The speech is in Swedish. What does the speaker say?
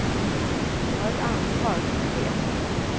Jag har ett ansvar som chef.